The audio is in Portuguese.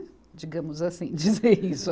Digamos assim, dizer isso.